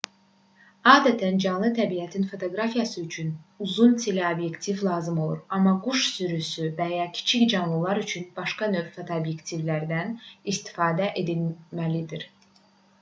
adətən canlı təbiətin fotoqrafiyası üçün uzun teleobyektivlər lazım olur amma quş sürüsü və ya kiçik canlılar üçün başqa növ fotoobyektivlərdən istifadə edilməlidir